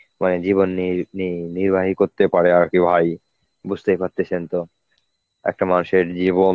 মানে জীবন নির~ নি~ নির্বাহী করতে পারে আর কি ভাই বুঝতেই পারতেছেন তো. একটা মানুষের জীবন